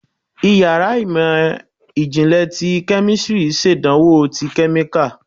Íyarà imọ jinlẹ tí kemistri ṣàdánwò tí kemíkalí